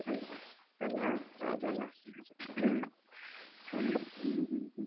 ಅಲ್ವಾ ಅಲ್ಲ ಹೌದಲ್ಲಾ, ಹಾಗೆ ಹ್ಮ್ ಹ್ಮ್ ಹ್ಮ್.